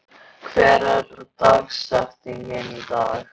Manuel, hver er dagsetningin í dag?